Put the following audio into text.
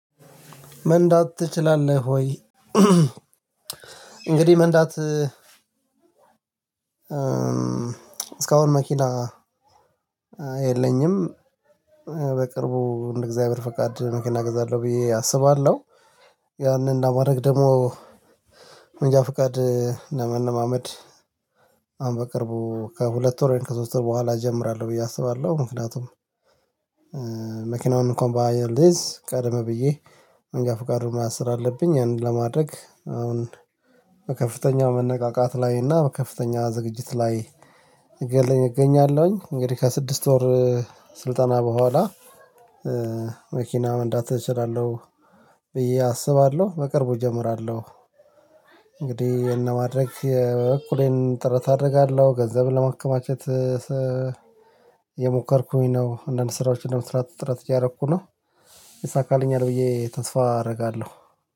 መንዳት ትችላለህ ወይ? እንግዲህ መንዳት እስካሁን መኪና የለኝም። በቅርቡ እንደ እግዚአብሔር ፈቃድ መኪና እገዛለሁ ብዬ አስባለሁ። ያንን እንደ ለማረግ ደግሞ መንጃ ፍቃድ ለመለማመድ። አሁን በቅርቡ ከሁለት ወር ከሶስት በኋላ እጀምራለሁ ብዬ አስባለሁ። ምክንያቱም መኪናውን እንኳን ባልይዝ ቀደምብየ መንጃ ፍቃዱን መያዝ ስላለብኝ ያንን ለማድረግ አሁን በከፍተኛ መነቃቃት ላይ እና በከፍተኛ ዝግጅት ላይ እገኛለሁኝ እንግዲህ ከስድስት ወር ስልጠና በኋላ መኪና መንዳት እችላለሁ ብዬ አስባለሁ። በቅርቡ እጀምራለሁ። እንግዲህ ይህን ለማድረግ የበኩሌን ጥረት አደርጋለሁ ገንዘብን ለመከማቸት እየሞከርኩኝ ነው። አንዳንድ ስራዎች ለመስራት ጥረት እያደረኩ ነው። ይሳካልኛል ብዬ ተስፋ አደርጋለሁ